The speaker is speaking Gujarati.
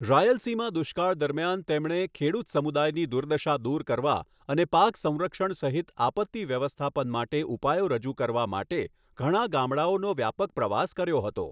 રાલયસીમા દુષ્કાળ દરમિયાન તેમણે ખેડૂત સમુદાયની દુર્દશા દૂર કરવા અને પાક સંરક્ષણ સહિત આપત્તિ વ્યવસ્થાપન માટે ઉપાયો રજૂ કરવા માટે ઘણા ગામડાઓનો વ્યાપક પ્રવાસ કર્યો હતો.